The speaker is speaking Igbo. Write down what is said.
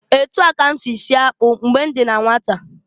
Etu a ka m si sie akpụ mgbe m dị na nwata.